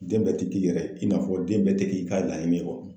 Den bɛɛ tɛ k'i yɛrɛ ye , i n'a fɔ den bɛɛ tɛ k'i ka laɲini kɔnɔ.